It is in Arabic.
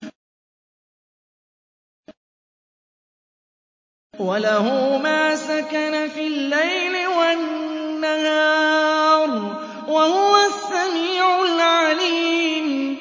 ۞ وَلَهُ مَا سَكَنَ فِي اللَّيْلِ وَالنَّهَارِ ۚ وَهُوَ السَّمِيعُ الْعَلِيمُ